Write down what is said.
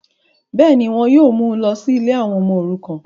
bẹ́ẹ̀ni, wọn yóò mú u lọ sí ilé àwọn ọmọ òrukàn